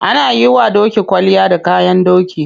Ana yiwa doki kwalliya da kayan doki.